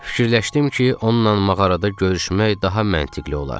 Fikirləşdim ki, onunla mağarada görüşmək daha məntiqli olar.